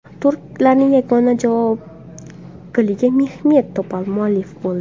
Turklarning yagona javob goliga Mehmet Topal muallif bo‘ldi.